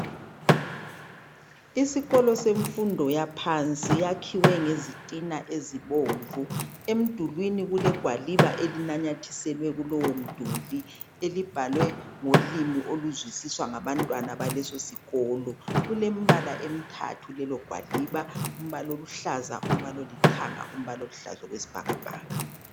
Isikolo semfundo yaphansi siyakhiwe ngezitina ezibomvu emdulwini kule gwaliba elinamathuselwe kulowomduli olubhalwe ngolimi oluzwisiswa ngaba ntwana balesi sikolo kulembala emithatha kulelo gwaliba imbala oluhlaza umbala olithanga umbala oluhlaza okwesibhakabhaka